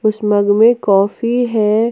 इस मग में कॉफी हैं।